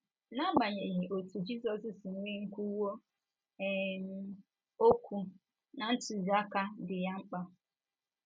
N’agbanyeghị otú Jizọs si nwee nkwuwu um okwu na ntụziaka dị ya mkpa.